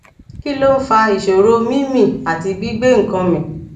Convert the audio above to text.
kí ló ń fa ìṣòro mí mí àti gbi gbe nkan mi